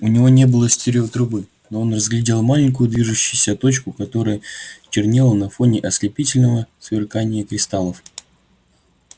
у него не было стереотрубы но он разглядел маленькую движущуюся точку которая чернела на фоне ослепительного сверкания кристаллов